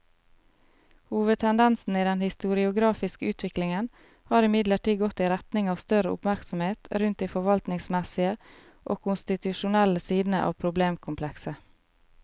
Hovedtendensen i den historiografiske utviklingen har imidlertid gått i retning av større oppmerksomhet rundt de forvaltningsmessige og konstitusjonelle sidene av problemkomplekset.